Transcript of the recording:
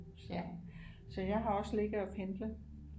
Så jeg har også ligget og pendlet